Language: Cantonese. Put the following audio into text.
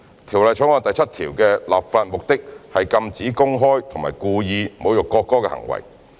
《條例草案》第7條的立法目的是禁止公開及故意侮辱國歌的行為。